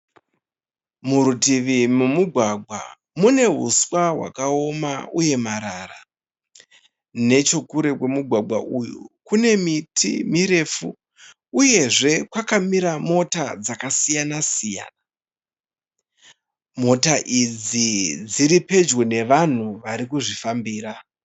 Murutivi momugwagwa mune huswa hwakaoma uye marara. Nechekure kwemugwagwa uyu kune miti mirefu uyezve kwakamira mota dzakasiyana siyana. Mota idzi dziri pedyo nevanhu varikuzvifambira.